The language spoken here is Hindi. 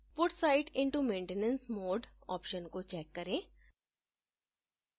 put site into maintenance mode option को check करें